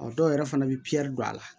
Ɔ dɔw yɛrɛ fana bɛ don a la